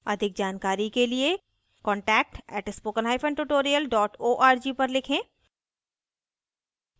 अधिक जानकारी के लिए contact @spokentutorial org पर लिखें